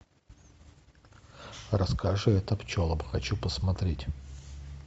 расскажи это пчелам хочу посмотреть